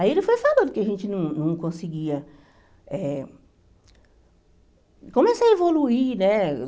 Aí ele foi falando que a gente não não conseguia eh... Começa a evoluir, né?